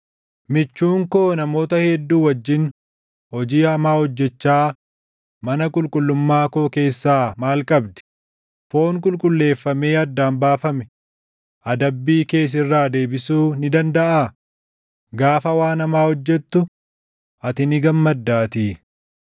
“Michuun koo namoota hedduu wajjin hojii hamaa hojjechaa mana qulqullummaa koo keessaa maal qabdi? Foon qulqulleeffamee addaan baafame // adabbii kee sirraa deebisuu ni dandaʼaa? Gaafa waan hamaa hojjettu, ati ni gammaddaatii.”